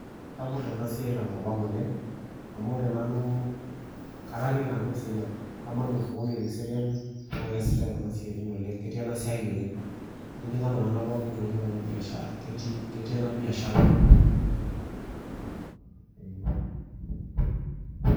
Sapuk enasiai tenkop ang oleng, amu ore nanu kataaniki nanu Kiserian. Kamanya osokoni le Kiserian na keesitai kuna siaitin oleng. Ketii enasiai oleng. Etijing'a iltung'anak pookin oleng enabiashara, ketii enabiashara enakop ang, ee.